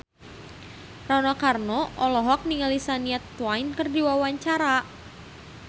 Rano Karno olohok ningali Shania Twain keur diwawancara